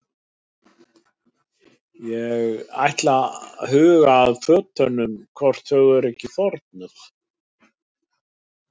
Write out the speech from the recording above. Ég ætla að huga að fötunum hvort þau eru ekki þornuð.